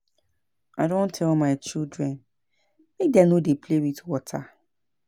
I don tell my children make dem no dey play with water